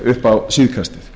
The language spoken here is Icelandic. upp á síðkastið